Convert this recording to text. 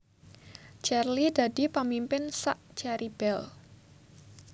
Cherly dadi pamimpin sak Cherry Belle